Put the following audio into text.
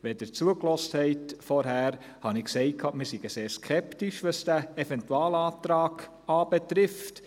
Wenn Sie vorhin zugehört haben, habe ich gesagt, wir seien sehr skeptisch, was den Eventualantrag anbelangt.